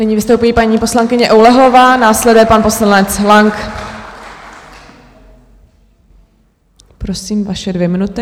Nyní vystoupí paní poslankyně Oulehlová, následuje pan poslanec Lang. Prosím, vaše dvě minuty.